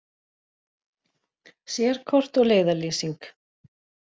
Sérkort og leiðarlýsing.